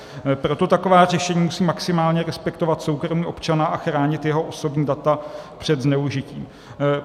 Proto taková řešení musí maximálně respektovat soukromí občana a chránit jeho osobní data před zneužitím.